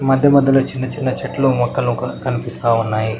మధ్య మధ్యలో చిన్న చిన్న చెట్లు మొక్కలు ఒక కనిపిస్తా ఉన్నాయి.